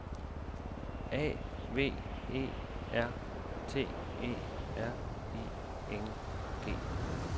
A V E R T E R I N G